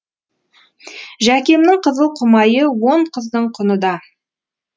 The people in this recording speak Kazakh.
жәкемнің қызыл құмайы он қыздың құны да